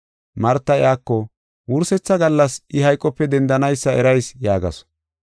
Marta iyako, “Wursetha gallas I hayqope dendanaysa erayis” yaagasu.